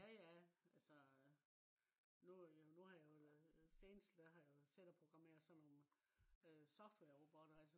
ja ja altså nu har jeg jo lavet øh senest der har jeg jo siddet og programmet sådan nogle softwarerobotter